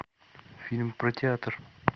фильм про театр